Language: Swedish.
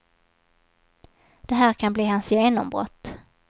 Det här kan bli hans genombrott.